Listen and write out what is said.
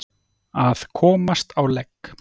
Að komast á legg